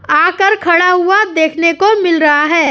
आकर खड़ा हुआ देखने को मिल रहा है।